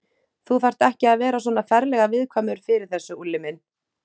Þú þarft ekki að vera svona ferlega viðkvæmur fyrir þessu, Úlli minn.